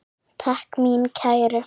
Takk mín kæru.